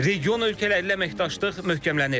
Region ölkələrlə əməkdaşlıq möhkəmlənir.